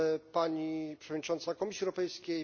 Pani Przewodnicząca Komisji Europejskiej!